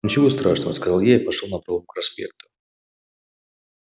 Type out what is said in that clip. ничего страшного сказал я и пошёл напролом к проспекту